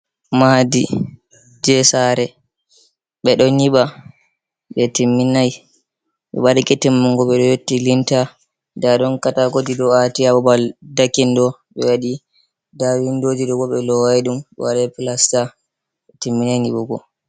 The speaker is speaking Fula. Maadi je sare, ɓe ɗo nyiɓa be timminai, ɓe ɓadeke timmungo ɓe yotti linta. Nda ɗon kataakoji ɗo ati haa babal dekin ɗo. Ɓe waɗi nda windoji ɗo bo ɓe lowai ɗum ɓe waɗi plasta, ɓe timminai nyiɓugo.